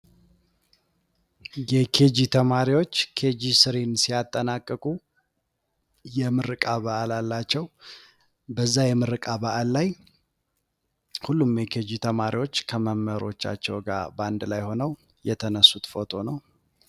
የኬጂ ተማሪዎች ኬጂ3 ሲጨርሱ የምረቃ በአል አላቸው። በዛ የምረቃ በአል ላይ ሁሉም የኬጂ ተማሪዎች ከአስተማሪወቻቸው ጋ የተነሱት ፎቶ ነው።